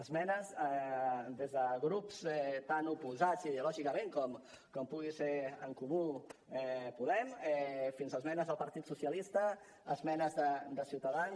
esmenes des de grups tan oposats ideològicament com pugui ser en comú podem fins esmenes del partit socialista esmenes de ciutadans